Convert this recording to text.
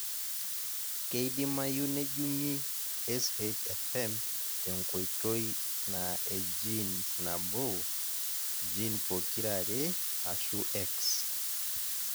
Keidimayu nejungi SHFM te nkoitoi na e genes nabo ,gene pokira are ashu X .